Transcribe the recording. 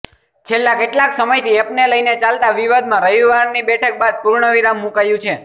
છેલ્લા કેટલાક સમયથી એપને લઈને ચાલતા વિવાદમાં રવિવારની બેઠક બાદ પૂર્ણવિરામ મૂકાયું છે